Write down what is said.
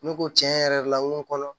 Ne ko tiɲɛ yɛrɛ la n ko kɔnɔ